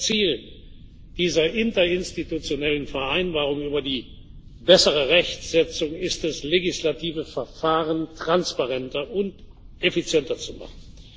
Das Ziel dieser Interinstitutionellen Vereinbarung über die bessere Rechtsetzung ist es, legislative Verfahren transparenter und effizienter zu machen.